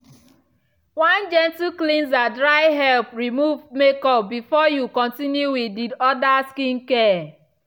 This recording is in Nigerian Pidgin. one gentle cleanser dry help remove makeup before you continue with the orda skincare.